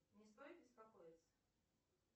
мне стоит беспокоиться